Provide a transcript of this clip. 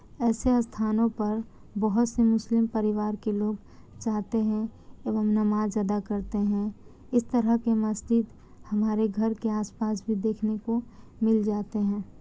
ऐसे स्थानों पर बोहत से मुस्लिम परिवार के लोग जाते है एवं नमाज़ अदा करते हैइस तरह के मस्जिद हमारे घर के आस-पास भी देखने को मिल जाते है।